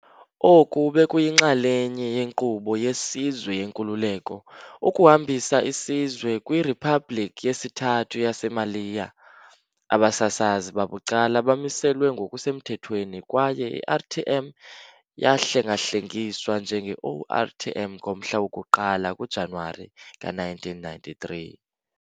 Oku bekuyinxalenye yenkqubo yesizwe yenkululeko, ukuhambisa isizwe kwi "Riphabhlikhi yesiThathu yaseMaliya". Abasasazi babucala bamiselwa ngokusemthethweni, kwaye i-RTM yahlengahlengiswa njenge-ORTM ngomhla woku-1 kuJanuwari ka-1993.